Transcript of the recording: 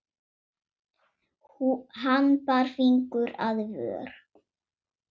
Hann bar fingur að vör.